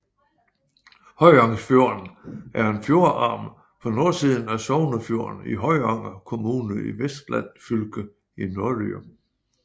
Høyangsfjorden er en fjordarm på nordsiden af Sognefjorden i Høyanger kommune i Vestland fylke i Norge